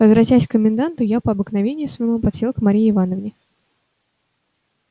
возвратясь к коменданту я по обыкновению своему подсел к марье ивановне